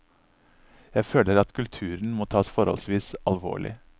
Jeg føler at kultur må tas forholdsvis alvorlig.